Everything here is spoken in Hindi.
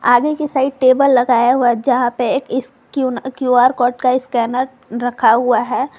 आगे की साइड टेबल लगाया हुआ जहां पे एक क्यू_आर कोड का स्कैनर रखा हुआ है।